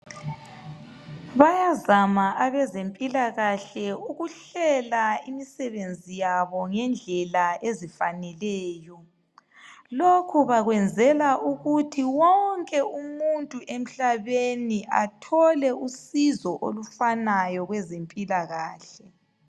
Bayazama abezempila kahle ukuhlela imisebenzi yabo ngendlela ezifaneleyo lokho bakwenzela ukuthi wonke umuntu emhlabeni athole usizo olufanayo kwezempila kahle